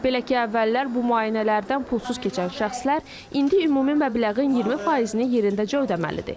Belə ki, əvvəllər bu müayinələrdən pulsuz keçən şəxslər indi ümumi məbləğin 20%-ni yerindəcə ödəməlidir.